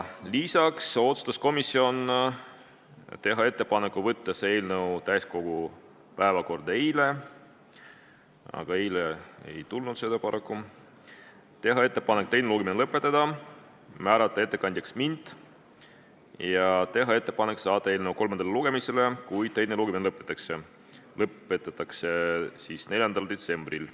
Lisaks otsustas komisjon teha ettepaneku võtta see eelnõu päevakorda eile , teha ettepaneku teine lugemine lõpetada, määrata ettekandjaks mind ja teha ettepaneku saata eelnõu kolmandale lugemisele, kui teine lõpetatakse, 4. detsembril.